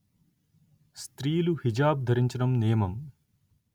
స్త్రీలు హిజాబ్ ధరించడం నియమం